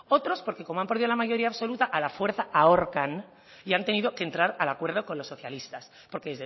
otros porque como han perdido la mayoría absoluta a la fuerza ahorcan y han tenido que entrar al acuerdo con los socialistas porque